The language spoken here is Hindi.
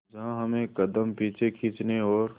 जहां हमें कदम पीछे खींचने और